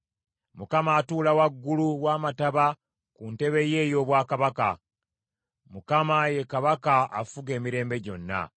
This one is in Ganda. Mukama atuula waggulu w’amataba ku ntebe ye ey’obwakabaka. Mukama ye Kabaka afuga emirembe gyonna.